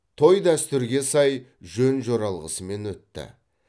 той дәстүрге сай жөн жоралғысымен өтті